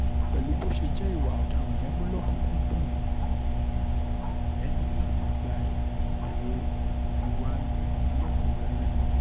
pẹ̀lú bó ṣe jẹ́ ìwà ọ̀daràn lè mú lọ́kùn-ún-kúndùn yìí ẹ ní láti gba èrè ìwà yín lẹ́kùn-ún rẹ́rẹ́ ni